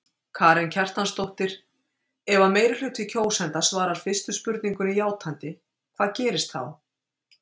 Karen Kjartansdóttir: Ef að meirihluti kjósenda svarar fyrstu spurningunni játandi hvað gerist þá?